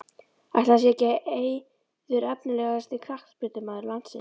Ætli það sé ekki Eiður Efnilegasti knattspyrnumaður landsins?